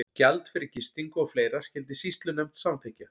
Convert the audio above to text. Gjald fyrir gistingu og fleira skyldi sýslunefnd samþykkja.